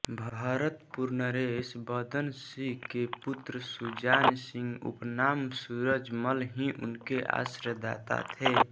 भरतपुर नरेश बदनसिंह के पुत्र सुजानसिंह उपनाम सूरजमल ही इनके आश्रयदाता थे